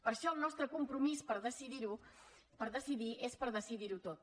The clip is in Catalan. per això el nostre compromís per decidir és per decidir ho tot